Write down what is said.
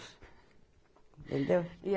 Entendeu?